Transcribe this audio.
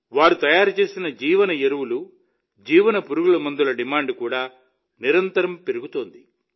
వారు తయారు చేసిన జీవ ఎరువులు జీవ పురుగుమందుల డిమాండ్ కూడా నిరంతరం పెరుగుతోంది